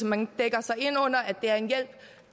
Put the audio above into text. man dækker sig ind under at det er en hjælp